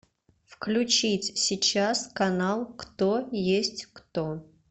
включить сейчас канал кто есть кто